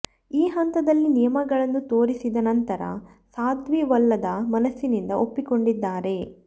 ಈ ಹಂತದಲ್ಲಿ ನಿಯಮಗಳನ್ನು ತೋರಿಸಿದ ನಂತರ ಸಾಧ್ವಿ ಒಲ್ಲದ ಮನಸ್ಸಿನಿಂದ ಒಪ್ಪಿಕೊಂಡಿದ್ದಾರೆ